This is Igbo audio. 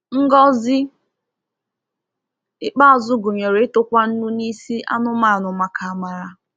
Ngọzi ikpeazụ gụnyere ịtụkwa nnu n’isi anụmanụ maka amara.